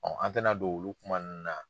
an tɛ na don don olu kuma ninnu na.